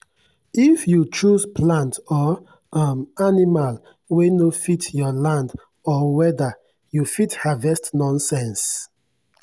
if you choose plant or um animal wey no fit your land or weather you fit harvest nonsense.